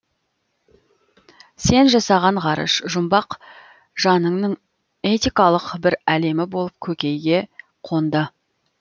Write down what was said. сен жасаған ғарыш жұмбақ жаныңның этикалық бір әлемі болып көкейге қонды